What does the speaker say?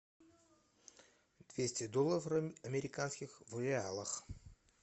двести долларов американских в реалах